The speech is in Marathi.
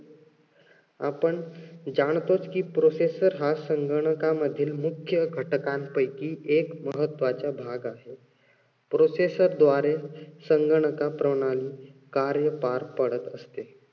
आपण जाणतोच कि processor हा संगणकामधील मुख्य घटकांपैकी एक महत्वाचा भाग आहे. processor द्वारे संगणका प्रणाली कार्य पार पाडत असते.